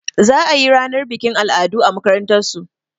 Za a yi ranar bikin al'adu a makarantasu.